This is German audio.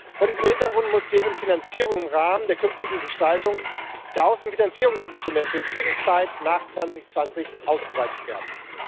Vor diesem Hintergrund muss deren Finanzierung im Rahmen der künftigen Gestaltung der Außenfinanzierungsinstrumente für die Zeit nach 2020 ausgeweitet werden.